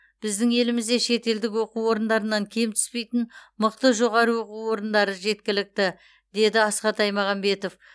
біздің елімізде шетелдік оқу орындарынан кем түспейтін мықты жоғары оқу орындары жеткілікті деді асхат аймағамбетов